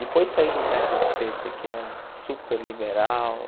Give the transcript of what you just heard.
Depois saí de um método desse que é super liberal.